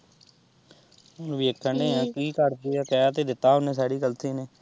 ਹੁਣ ਵੇਖਣ ਦਏ ਆ ਕੀ ਕਰਦੇ ਆ ਕਹਿ ਤਾਂ ਦਿੱਤਾ ਉਹਨੇ ਸੈਰੀਕਲਸ਼ੀ ਨੇ।